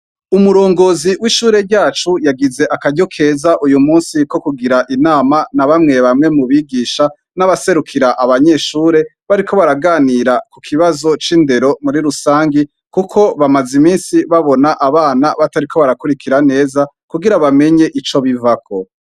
Umurongozi w'ishure ryacu uyumusi yagize akaryo keza ko kugira inama na bamwe bamwe mu bigisha n'abaserukira abanyeshure bariko baraganira ku kibazo c'indero muri rusangi, kuko bamaze imisi babona abanyeshure batariko barakurikira neza kugira bamenye ico bivako.